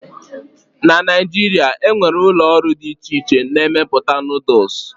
na Naijiria, e nwere ụlọ ọrụ dị iche iche na-emepụta Noodles